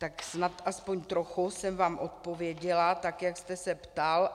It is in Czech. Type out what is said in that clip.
Tak snad aspoň trochu jsem vám odpověděla tak, jak jste se ptal.